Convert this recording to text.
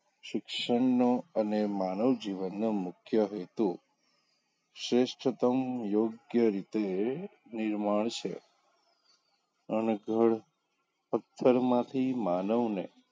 શિક્ષણનો અને માનવજીવનનો મુખ્ય હેતું શ્રેષ્ઠતમ યોગ્ય રીતે નિર્માણ છે અનગઢ પથ્થરમાંથી માનવને,